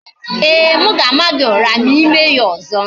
Ee, m ga-ama gị ụra ma I mee ya ọzọ